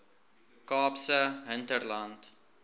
kaapse hinterland